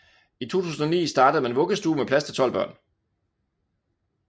I 2009 startede man vuggestue med plads til 12 børn